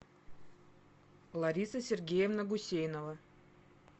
лариса сергеевна гусейнова